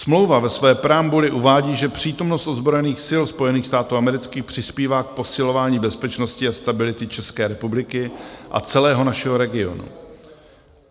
Smlouva ve své preambuli uvádí, že přítomnost ozbrojených sil Spojených států amerických přispívá k posilování bezpečnosti a stability České republiky a celého našeho regionu.